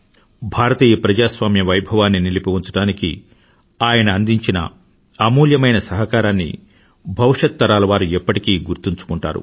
భారతీయ ప్రజాస్వామ్య వైభవాన్ని నిలిపి ఉంచడానికి ఆయన అందించిన అమూల్యమైన సహకారాన్ని భవిష్యతరాలవారు ఎప్పటికీ గుర్తుంచుకుంటారు